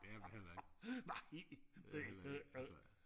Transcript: det er jeg heller ikke det er jeg heller ikke altså